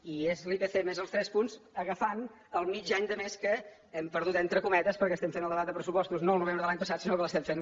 i és l’ipc més els tres punts agafant el mig any de més que hem perdut entre cometes perquè estem fent el debat de pressupostos no el novembre de l’any passat sinó que l’estem fent